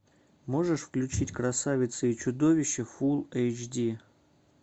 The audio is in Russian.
можешь включить красавица и чудовище фулл эйч ди